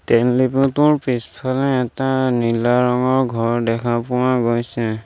তেল ডিপুটোৰ পিছফালে এটা নীলা ৰঙৰ ঘৰ দেখা পোৱা গৈছে।